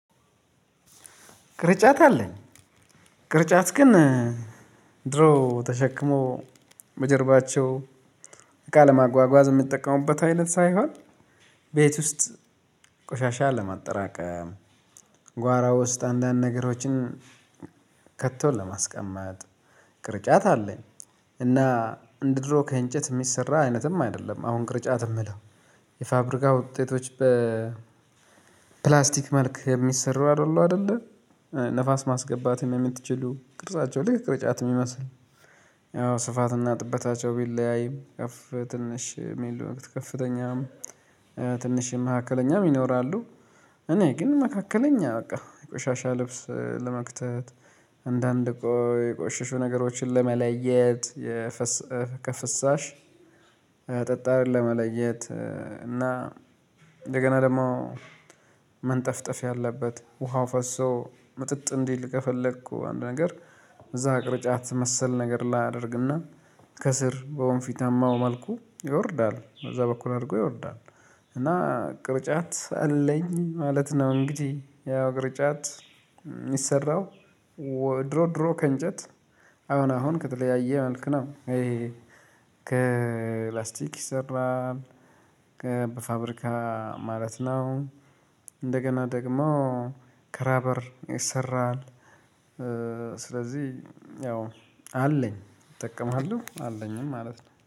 ቅርጫት አለኝ። ቅርጫት ግን ድሮ ተሸክመው በጀርባቸው እቃ ለማጓጓዝ የሚጠቀሙበት አይነት ሳይሆን ቤት ውስጥ ቆሻሻ ለማጠራቀም ጓራ ውስጥ አንዳንድ ነገሮችን ከቶ ለማስቀመጥ ቅርጫት አለኝ። እና እንደ ድሮ ከእንጨት የሚሰራ አይነትም አይደለም አሁን ቅርጫት የምለው የፋብሪካ ውጤቶች በፕላስቲክ መልክ የሚሰሩ አይደሉ አይደለ ንፋስ ማስገባት የምትችሉ ቅርጻቸው ልክ ጫት የሚመስል ያው ስፋትና ጥበታቸው ቢለያይ ከፍ ትንሽ የሚሉ ከፍተኛም ትንሽ መካከለኛም ይኖራሉ። እኔ ግን መካከለኛ በቃ የቆሻሻ ልብስ ለመክተት አንዳንድ የቆሽሹ ነገሮችን ለመለየት። ከፍሳሽ ጠጣር ለመለየት እና እንደገና ደግሞ መንጠፍጠፍ ያለበት ውሃው ፈሶ ምጥጥ እንዲል ከፈለኩ አንድ ነገር እዛ ቅርጫት መሰል ነገር አደርግና ከስር በወንፊታማው መልኩ ይወርዳል በዛ በኩል አድርጎ ይወርዳል። እና ቅርጫት አለኝ ማለት ነው። እንግዲህ ያው ቅርጫት የሚሰራው ድሮ ድሮ ከእንጨት አሁን አሁን ከተለያየ መልኩ ነው። ከላስቲክ ይሰራል። ከ በፋብሪካ ማለት ነው። እንደገና ደግሞ ከራበር ይሰራል። ስለዚህ ያው አለኝ እጠቀማለሁ አለኝም ማለት ነው